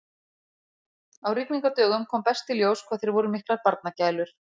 Á rigningardögum kom best í ljós hvað þeir voru miklar barnagælur.